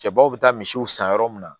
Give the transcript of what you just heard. Cɛbaw bɛ taa misiw san yɔrɔ mun na